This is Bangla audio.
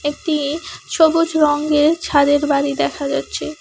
একটি সবুজ রঙ্গের ছাদের বাড়ি দেখা যাচ্ছে।